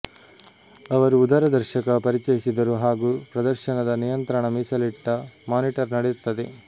ಅವರು ಉದರ ದರ್ಶಕ ಪರಿಚಯಿಸಿದರು ಹಾಗೂ ಪ್ರದರ್ಶನದ ನಿಯಂತ್ರಣ ಮೀಸಲಿಟ್ಟ ಮಾನಿಟರ್ ನಡೆಯುತ್ತದೆ